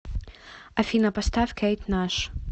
афина поставь кейт наш